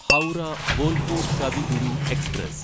Howrah Bolpur Kavi Guru express